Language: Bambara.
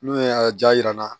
N'o ye a ja yira n na